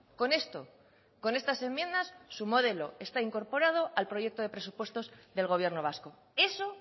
con esto con estas enmiendas su modelo está incorporado al proyecto de presupuestos del gobierno vasco eso